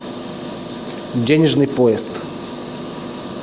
денежный поезд